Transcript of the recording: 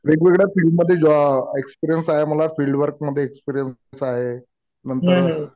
वेगवेगळ्या फिल्डमध्ये एक्सपीरियन्स आहे मला. फिल्ड वर्क मध्ये एक्सपीरियन्स आहे.नंतर